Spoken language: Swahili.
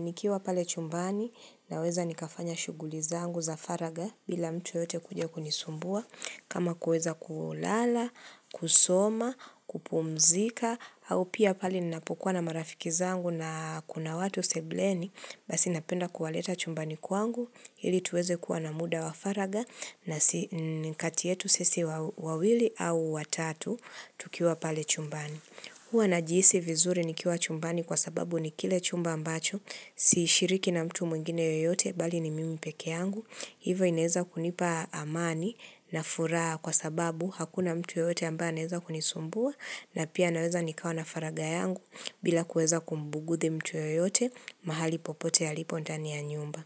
Nikiwa pale chumbani naweza nikafanya shughuli zangu za faragha bila mtu yote kuja kunisumbua kama kuweza kulala, kusoma, kupumzika au pia pale ninapokuwa na marafiki zangu na kuna watu sebuleni, basi napenda kuwaleta chumbani kwangu ili tuweze kuwa na muda wa faragha na kati yetu sisi wawili au watatu tukiwa pale chumbani hua najihisi vizuri nikiwa chumbani kwa sababu nikile chumba ambacho sishiriki na mtu mwingine yoyote bali ni mimi peke yangu hivo inaeza kunipa amani na furaha kwa sababu hakuna mtu yoyote ambaye anaeza kunisumbua, na pia naweza nikawa na faragha yangu bila kuweza kumbugudhi mtu yoyote mahali popote alipo ndani ya nyumba.